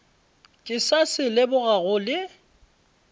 ke sa se lebogago le